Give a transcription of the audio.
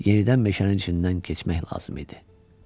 Yenidən meşənin içindən keçmək lazım idi.